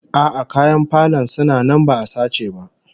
A'a, kayan falon suna nan ba'a sace ba